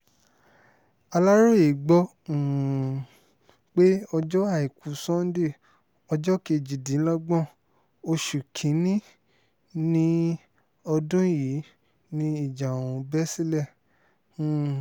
aláròye gbọ́ um pé ọjọ́ àìkú sannde ọjọ́ kejìdínlọ́gbọ̀n oṣù kín-ín-ní ọdún yìí ni ìjà ọ̀hún bẹ́ sílẹ̀ um